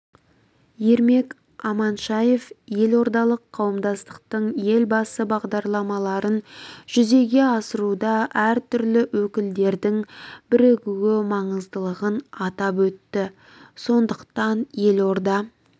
ермек аманшаев елордалық қауымдастықтың елбасы бағдарламаларын жүзеге асыруда әртүрлі өкілдердің бірігу маңыздылығын атап өтті сондықтан елорда